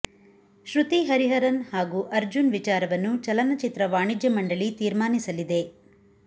ಶ್ರುತಿ ಹರಿಹರನ್ ಹಾಗೂ ಅರ್ಜುನ್ ವಿಚಾರವನ್ನು ಚಲನಚಿತ್ರ ವಾಣಿಜ್ಯ ಮಂಡಳಿ ತೀರ್ಮನಿಸಲಿದೆ